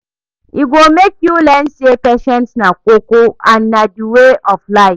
e go mek yu learn sey patience na koko and na di way of life